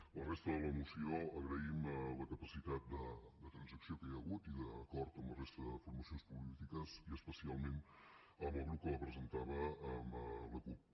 amb la resta de la moció agraïm la capacitat de transacció que hi ha hagut i d’acord amb la resta de formacions polítiques i especialment amb el grup que la presentava amb la cup